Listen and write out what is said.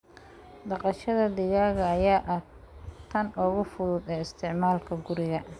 Dhaqashada digaaga ayaa ah tan ugu fudud ee isticmaalka guriga.